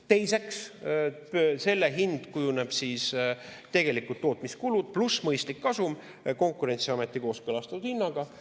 Teiseks, selle hind kujuneb tootmiskuludest ja mõistlikust kasumist Konkurentsiameti kooskõlastatud hinnaga.